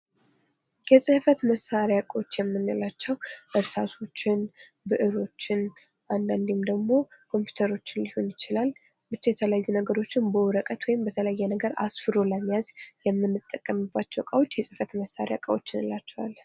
የፅህፈት መሳሪያ እቃዎች የምንላቸው እርሳሶችን ብእሮችን አንዳንዴም ደግሞ ኮምፒተሮችን ሊሆን ይችላል ብቻ የተለያዩ ነገሮችን በወረቀት ወይም በተለያዩ ነገር አስፍሮ ለመያዝ የምንጠቀምባቸው እቃዎች የፅህፈት መሳሪያ እንላቸዋለን::